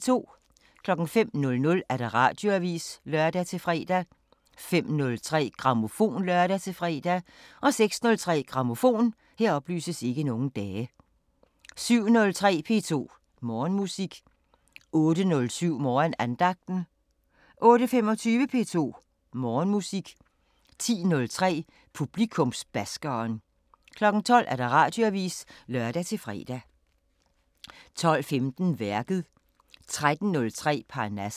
05:00: Radioavisen (lør-fre) 05:03: Grammofon (lør-fre) 06:03: Grammofon 07:03: P2 Morgenmusik 08:07: Morgenandagten 08:25: P2 Morgenmusik 10:03: Publikumsbaskeren 12:00: Radioavisen (lør-fre) 12:15: Værket 13:03: Parnasset